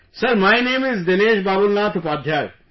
Sir, my name is Dinesh Babulnath Upadhyay